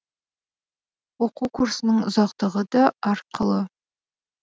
оқу курсының ұзақтығы да әрқылы